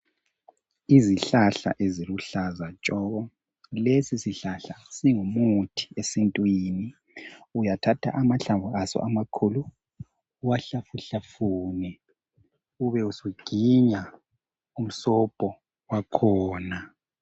Izihlahla eziluhlaza tshoko. Lesi sihlahla singumuthi esintwini. Uyathatha amahlamvu aso amakhulu uwahlafuhlafune ube usuginya umsobho wakhona.